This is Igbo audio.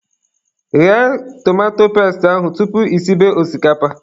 Ghee tomato pestị ahụ tupu I sibe osikapa